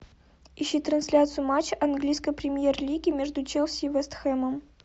ищи трансляцию матча английской премьер лиги между челси и вест хэмом